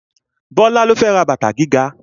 Bọ́lá ló fẹ́ ra bàtà gíga